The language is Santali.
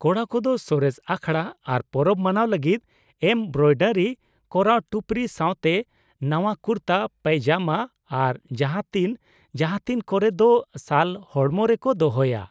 ᱠᱚᱲᱟ ᱠᱚᱫᱚ ᱥᱚᱨᱮᱥ ᱟᱠᱷᱲᱟ ᱟᱨ ᱯᱚᱨᱚᱵ ᱢᱟᱱᱟᱣ ᱞᱟᱹᱜᱤᱫ ᱮᱢᱵᱨᱚᱭᱰᱟᱨᱤ ᱠᱚᱨᱟᱣ ᱴᱩᱯᱨᱤ ᱥᱟᱶᱛᱮ ᱱᱟᱶᱟ ᱠᱩᱨᱛᱟ ᱯᱟᱭᱡᱟᱢᱟ ᱟᱨ ᱡᱟᱦᱟᱸᱛᱤᱱ ᱡᱟᱦᱟᱸᱛᱤᱱ ᱠᱚᱨᱮ ᱫᱚ ᱥᱟᱞ ᱦᱚᱲᱢᱚ ᱨᱮᱠᱚ ᱫᱚᱦᱚᱭᱟ ᱾